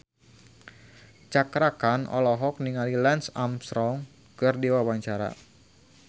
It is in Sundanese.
Cakra Khan olohok ningali Lance Armstrong keur diwawancara